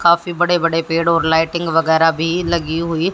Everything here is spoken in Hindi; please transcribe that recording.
काफी बड़े-बड़े पेड़ और लाइटिंग वगैरा भी लगी हुई --